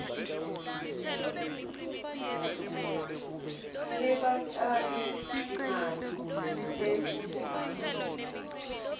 lebatjali timali kutekulima